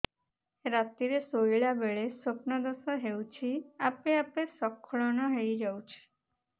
ରାତିରେ ଶୋଇଲା ବେଳେ ସ୍ବପ୍ନ ଦୋଷ ହେଉଛି ଆପେ ଆପେ ସ୍ଖଳନ ହେଇଯାଉଛି